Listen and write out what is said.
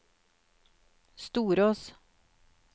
Storås